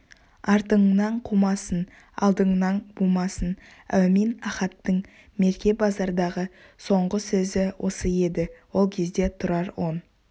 артыңнан қумасын алдыңнан бумасын әумин ахаттың мерке базардағы соңғы сөзі осы еді ол кезде тұрар он